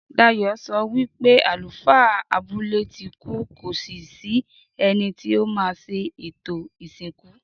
Dayò sọ wípé àlùfáà abúlé tí kú kò sí sí ẹni tí o má ṣe ètò ìsìnkú